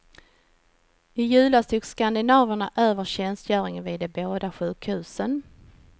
I julas tog skandinaverna över tjänstgöringen vid de båda sjukhusen.